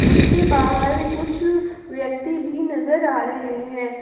उसके बाहर कुछ व्यक्ति भी नजर आ रहे हैं।